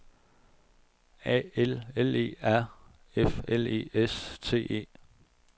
A L L E R F L E S T E